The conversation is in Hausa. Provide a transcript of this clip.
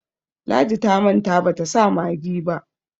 ladi ta manta bata sa maggi ba